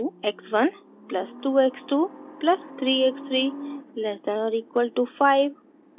x 1 plus 2 x 2 plus 3 x 3 less than और equal to 5